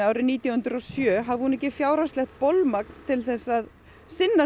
árið nítján hundruð og sjö hafi hún ekki fjárhagslegt bolmagn til að sinna